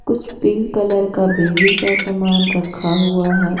कुछ pink colour का baby का सामान रखा हुआ है।